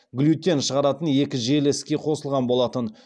глютен шығаратын екі желі іске қосылған болатын